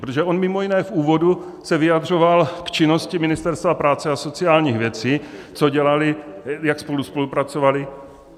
Protože on mimo jiné v úvodu se vyjadřoval k činnosti Ministerstva práce a sociálních věcí, co dělali, jak spolu spolupracovali.